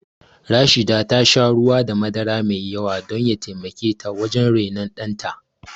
Rashida ta sha ruwa da madara mai yawa don ya taimake ta wajen rainon ɗanta